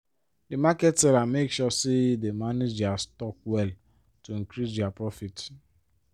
di market seller make sure say dey manage dia stock well to increase dia profit.